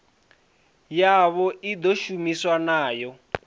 yavho i ḓo shumiwa nayo